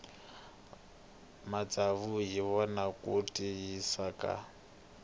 matsavu hi wona ya tiyisaka